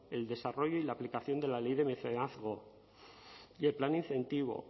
el desarrollo y la aplicación de la ley de mecenazgo y el plan incentivo